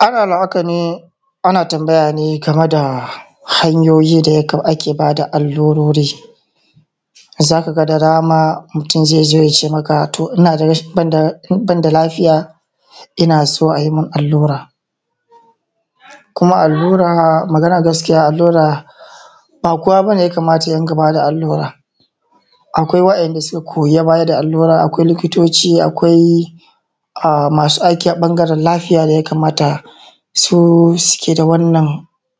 Ana hakane ana tambaya gameda hanyoyi da ake bada allurori zaka da dama mutun zai zo yace maka to banda lafiya innaso ayimun allura. Kuma allura maganan gaskiya allura ba kowa bane ya kamata yarinƙa bada allura. Akwai wa ‘yan’ da suka koyi bada allura akwai likitoci akwai masu aiki a ɓangaren lafiya daya kamatasu sukeda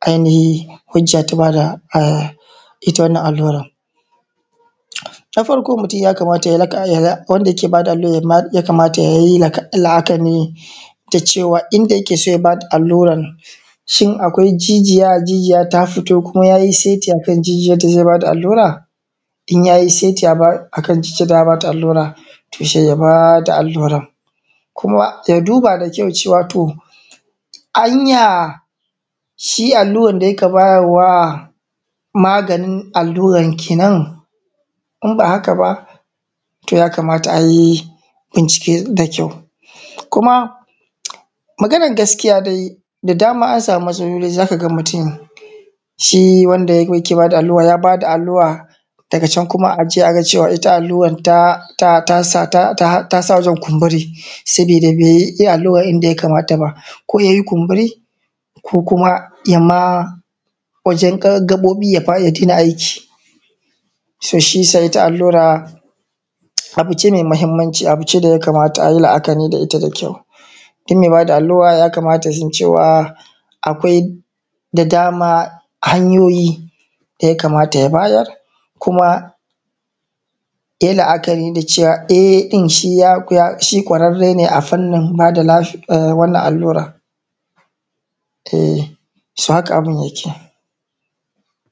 ainihi hujja ta bada itta wannan allura. Na farko wanda yake bada allurar yakamata yayi la’akari cewa inda yakeso ya bada alluran jijiya, jijiya ta fito kuma yayi sai akan inda zai bada allura? In yayi saiti akan jijiyan da za’a bada allura to sai ya bada allura. Kuma ya duba da kyau anya shi alluran da yaka bayarwa maganin allura kenan inba haka ba to yakamata ayi bincike da kyau. kuma maganan gaskiya dai sazaran ansami matsaloli zaka mutun shi wanda yaka bada alluran dagacan aga cewa itta alluran tasa wurin kumburi saboda baiyi alluran yanda ya kamata ba, ko yayi kumburi ko kuma yama wajen gaɓoɓi ya daina aiki shiyasa itta allura abuce mai mahimmanci abuce daya kamata ayi la’akari da itta da kyau. Dummai bada allura yakamata yasn cewa akwai da dama hanyoyi daya kamata ya bada kuma yayi la’akari da cewa e ɗin shi kwararrene a fannin bada wannan allura so haka abun yake.